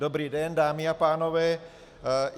Dobrý den, dámy a pánové.